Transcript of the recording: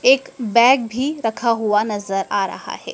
एक बैग भी रखे हुआ नजर आ रहा है।